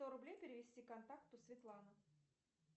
сто рублей перевести контакту светлана